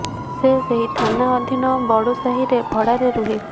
ସେ ସେହି ଥାନା ଅଧୀନ ବଡ଼ୁ ସାହିରେ ଭଡ଼ାରେ ରୁହେ